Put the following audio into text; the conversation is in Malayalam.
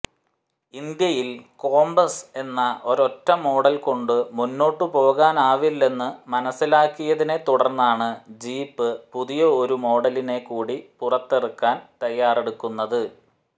ഇന്ത്യയിൽ കോമ്പസ് എന്ന ഒരൊറ്റ മോഡൽ കൊണ്ട് മുന്നോട്ടുപോകാനാവില്ലെന്ന് മനസിലാക്കിയതിനെ തുടർന്നാണ് ജീപ്പ് പുതിയൊരു മോഡലിനെ കൂടി പുറത്തിറക്കാൻ തയാറെടുക്കുന്നത്